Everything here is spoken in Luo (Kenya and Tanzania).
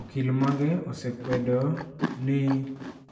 Okil mage osekwedo ni